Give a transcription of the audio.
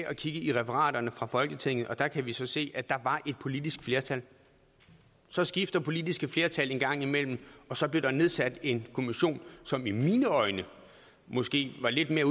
og kigge i referaterne fra folketinget og der kan vi så se at der var et politisk flertal så skifter politiske flertal en gang imellem og så blev der nedsat en kommission som i mine øjne måske lidt mere